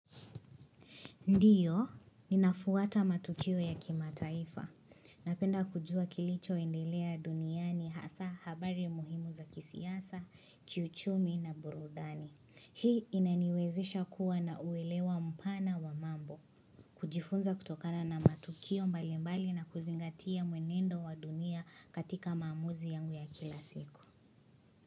Ndiyo, ninafwata matukio ya kimataifa. Napenda kujua kilichoendelea duniani hasaa habari muhimu za kisiasa, kiuchumi na burudani. Hii inaniwezesha kuwa na uelewa mpana wa mambo. Kujifunza kutokana na matukio mbalimbali na kuzingatia mwenendo wa dunia katika maamuzi yangu ya kila siku.